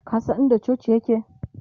ka San in da cocin yake?